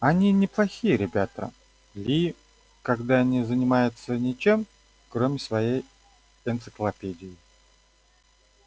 они неплохие ребята ли когда не занимаются ничем кроме своей энциклопедии